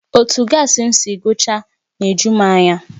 Otu gaasi m si agụchaa na-eju m anya